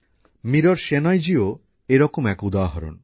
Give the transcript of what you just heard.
মীরা সেনয়জিও এরকমই এক উদাহরণ